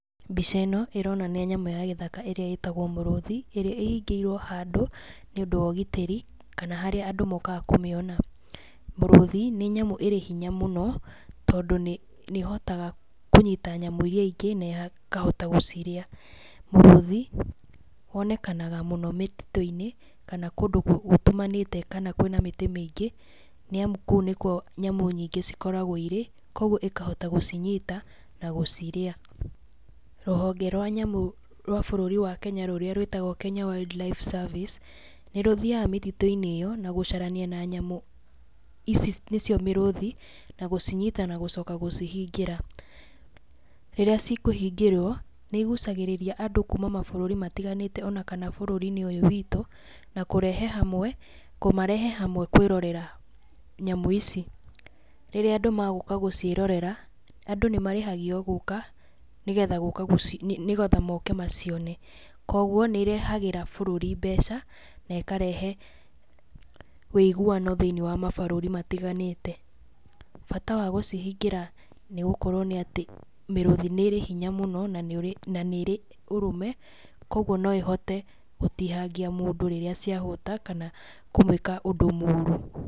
Mbica ĩno, ĩronania nyamũ ya gĩthaka ĩrĩa ĩtagwo mũrũthi, ĩrĩa ĩhingĩirwo handũ nĩ ũndu wa ũgitĩri, kana harĩa andũ mokaga kũmĩona. Mũrũthi, nĩ nyamũ ĩrĩ hinya mũno, tondũ nĩ ĩhotaga kũnyita nyamũ iria ingĩ na ĩkahota gũcirĩa. Mũrũthi, wonekanaga mũno mĩtitũ-inĩ, kana kũndũ gũtumanĩte kana kũĩna mĩtĩ mĩingĩ, nĩ amu kũu nĩ kuo nyamũ nyingĩ cikoragwo irĩ, koguo ĩkahota gũcinyita na gũcirĩa. Rũhonge rwa nyamũ rwa bũrũri wa Kenya rũrĩa rwĩtagwo Kenya Wildlife Service, nĩ rũthiaga mĩtitũ-inĩ ĩyo, na gũcarania na nyamũ ici nĩ cio mĩrũthi na gũcinyita na gũcoka gũcihingĩra. Rĩrĩa ci kũhingĩrwo nĩ igucagĩrĩria andũ kuuma mabũrũri matiganĩte, ona kana bũrũri-inĩ ũyũ witũ, na kũrehe, na kũmarehe hamwe kũĩrorera nyamũ ici. Rĩrĩa andũ ma gũka gũciĩrorera, adũ nĩ marĩhagio gũũka, nĩ getha moke macione. Koguo, nĩ ĩrehagĩra bũrũri mbeca, na ĩkarehe wĩiguano thĩiniĩ wa mabũrũri matiganĩte. Bata wa gũcihingĩra nĩ gũkorwo nĩ atĩ mĩrũthi nĩ ĩrĩ hinya mũno, na nĩ ĩrĩ ũrũme, koguo no ĩhote gũtihangia mũndu rĩrĩa cia hũta kana kũmũĩka ũndũ mũru.